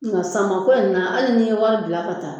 Nka samako in na hali n'i ye wari bila ka taa